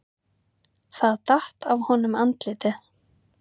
Það datt af honum andlitið.